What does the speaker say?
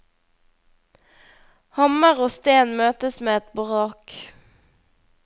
Hammer og sten møtes med et brak.